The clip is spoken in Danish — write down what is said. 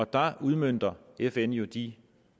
der udmønter fn jo de